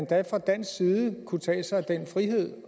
da fra dansk side kunne tage sig den frihed